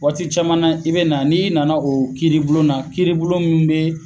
Waati caman i bɛ na n''i nana o kiribulonna, kibulon min bɛ